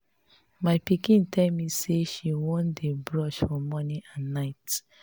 my pikin tell me say she wan dey brush for morning and night